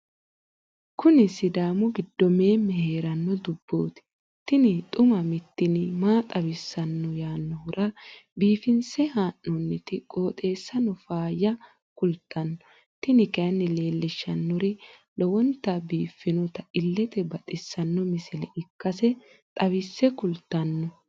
kuni sidaamu gido meeme heeranno dubooti tini xuma mtini maa xawissanno yaannohura biifinse haa'noonniti qooxeessano faayya kultanno tini kayi leellishshannori lowonta biiffinota illete baxissanno misile ikkase xawisse kultanno.